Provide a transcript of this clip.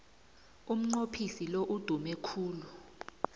umnqophisi lo udume khulu